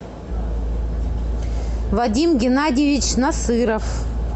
вадим геннадьевич насыров